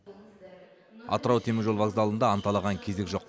атырау теміржол вокзалында анталаған кезек жоқ